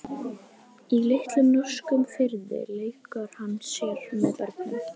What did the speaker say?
Í litlum norskum firði leikur hann sér með börnum.